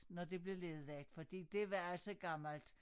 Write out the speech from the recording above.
Når det blev nedlagt fordi det var altså gammelt